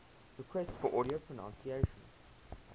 requests for audio pronunciation